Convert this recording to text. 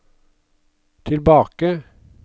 tilbake